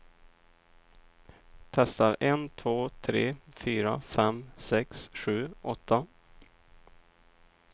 Testar en två tre fyra fem sex sju åtta.